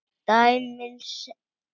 Dæmin segja aðra sögu.